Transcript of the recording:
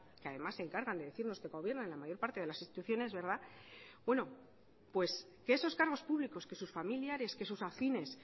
que además se encargan de decirnos que gobiernan en la mayor parte de las instituciones verdad que esos cargos públicos que sus familiares que sus afines